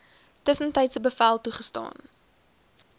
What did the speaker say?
tussentydse bevel toegestaan